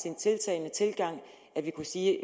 en tiltalende tilgang at vi kunne sige